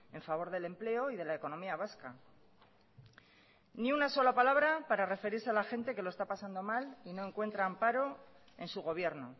en favor del empleo y de la economía vasca ni una sola palabra para referirse a la gente que lo está pasando mal y no encuentra amparo en su gobierno